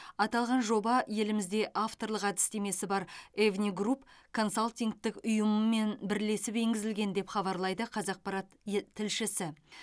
аталған жоба елімізде авторлық әдістемесі бар евни групп консалтингтік ұйымымен бірлесіп енгізілген деп хабарлайды қазақпарат ет тілшісі